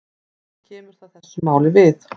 Hvað kemur það þessu máli við?